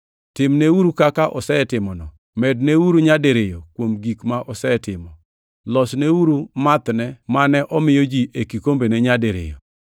Timneuru kaka osetimono! Medneuru nyadiriyo kuom gik ma osetimo! Losneuru mathne mane omiyo ji e kikombene nyadiriyo.